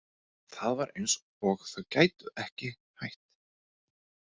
Það var eins og þau gætu ekki hætt.